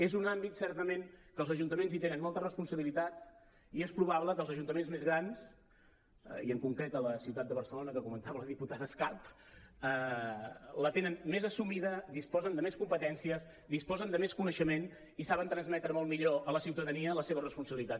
és un àmbit certament que els ajuntaments hi tenen molta responsabilitat i és probable que els ajuntaments més grans i en concret la ciutat de barcelona que comentava la diputada escarp la tinguin més assumida disposen de més competències disposen de més coneixement i saben transmetre molt millor a la ciutadania la seva responsabilitat